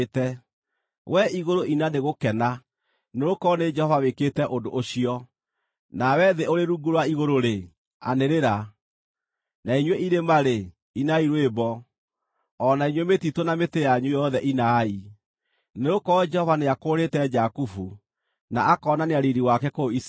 Wee igũrũ ina nĩ gũkena, nĩgũkorwo nĩ Jehova wĩkĩte ũndũ ũcio; nawe thĩ ũrĩ rungu rwa igũrũ-rĩ, anĩrĩra. Na inyuĩ irĩma-rĩ, inai rwĩmbo, o na inyuĩ mĩtitũ na mĩtĩ yanyu yothe inai, nĩgũkorwo Jehova nĩakũũrĩte Jakubu, na akoonania riiri wake kũu Isiraeli.